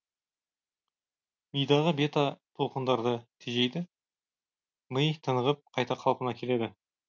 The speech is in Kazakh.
мидағы бета толқындарды тежейді ми тынығып қайта қалпына келеді